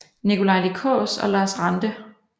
Nikolaj Lie Kaas og Lars Ranthe